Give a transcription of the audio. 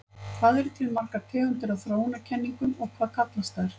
Hvað eru til margar tegundir af þróunarkenningum og hvað kallast þær?